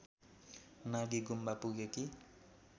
Nagi Gumba पुगेकी